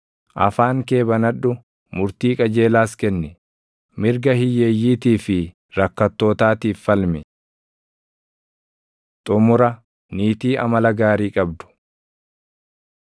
Afaan kee banadhu; murtii qajeelaas kenni; mirga hiyyeeyyiitii fi rakkattootaatiif falmi.” Xumura: Niitii Amala Gaarii Qabdu